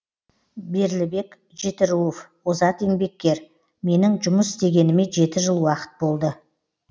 берлібек жетіруов озат еңбеккер менің жұмыс істегеніме жеті жыл уақыт болды